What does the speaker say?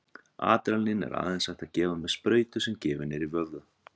Adrenalín er aðeins hægt að gefa með sprautu sem gefin er í vöðva.